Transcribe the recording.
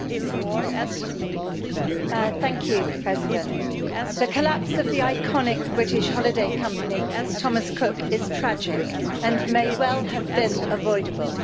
Madam President, the collapse of the iconic British holiday company Thomas Cook is tragic and may well have been avoidable.